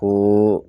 Ko